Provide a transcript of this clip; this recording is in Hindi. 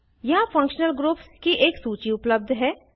यहाँ फंक्शनल ग्रुप्स की एक सूची उपलप्ध है